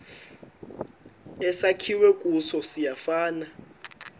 esakhiwe kuso siyafana